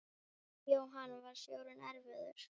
Jóhann: Var sjórinn erfiður?